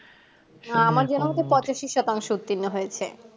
পঁচাশি শতাংশ উত্তীণ হয়েছে